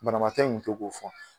Banabaatɔ in kun to k'o fɔ.